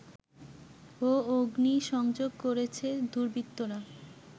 ও অগ্নিসংযোগ করেছে দুর্বৃত্তরা